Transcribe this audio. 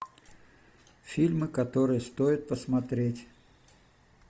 фильмы которые стоит посмотреть